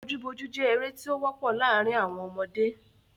Bojú bojú jẹ́ eré tí ó wọ́pọ̀ láàrín àwọn ọmọdé.